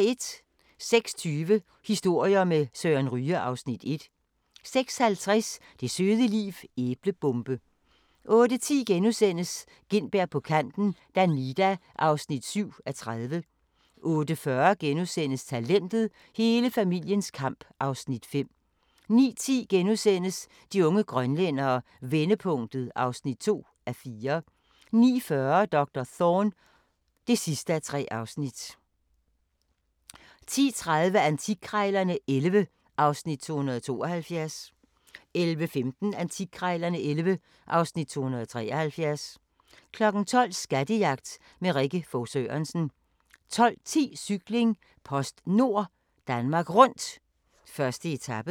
06:20: Historier med Søren Ryge (Afs. 1) 06:50: Det søde liv - æblebombe 08:10: Gintberg på kanten - Danida (7:30)* 08:40: Talentet – Hele familiens kamp (Afs. 5)* 09:10: De unge grønlændere – vendepunktet (2:4)* 09:40: Doktor Thorne (3:3) 10:30: Antikkrejlerne XI (Afs. 272) 11:15: Antikkrejlerne XI (Afs. 273) 12:00: Skattejagt med Rikke Fog Sørensen 12:10: Cykling: PostNord Danmark Rundt, 1. etape